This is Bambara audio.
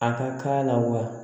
A ka k'a la wa